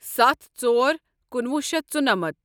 ستھ ژور کُنوُہ شیتھ ژُنمتھ